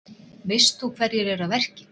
Veist þú hverjir eru að verki?